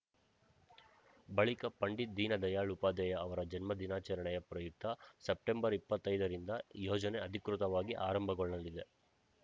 ಬಳಿಕ ಪಂಡಿತ್‌ ದೀನ ದಯಾಳ್‌ ಉಪಾಧ್ಯಾಯ ಅವರ ಜನ್ಮ ದಿನಾಚರಣೆಯ ಪ್ರಯುಕ್ತ ಸೆಪ್ಟೆಂಬರ್ ಇಪ್ಪತ್ತೈದರಿಂದ ಯೋಜನೆ ಅಧಿಕೃತವಾಗಿ ಆರಂಭಗೊಳ್ಳಲಿದೆ